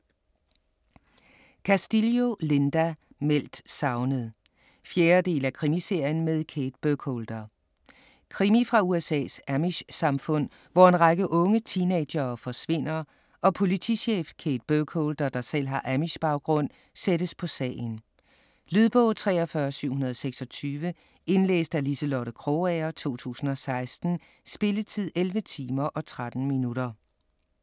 Castillo, Linda: Meldt savnet 4. del af Krimiserien med Kate Burkholder. Krimi fra USA's amish-samfund, hvor en række unge teenagere forsvinder og politichef Kate Burkholder, der selv har amish-baggrund, sættes på sagen. . Lydbog 43726 Indlæst af Liselotte Krogager, 2016. Spilletid: 11 timer, 13 minutter.